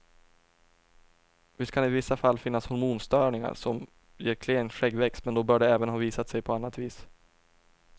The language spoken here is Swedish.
Visst kan det i vissa fall finnas hormonstörningar som ger klen skäggväxt, men då bör de även ha visat sig på annat vis.